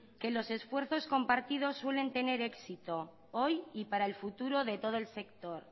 que los esfuerzos compartidos suelen tener éxito hoy y para el futuro de todo el sector